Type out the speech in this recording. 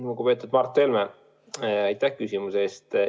Lugupeetud Mart Helme, aitäh küsimuse eest!